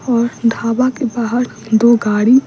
और ढाबा के बाहर दो गाड़ी --